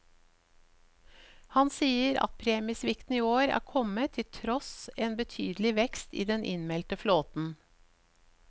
Han sier at premiesvikten i år er kommet til tross en betydelig vekst i den innmeldte flåten.